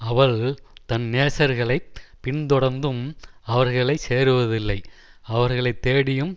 அவள் தன் நேசர்களைப் பின்தொடர்ந்தும் அவர்களை சேருவதில்லை அவர்களை தேடியும்